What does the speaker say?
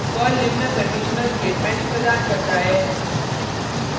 Perl निम्न conditional statements प्रदान करता है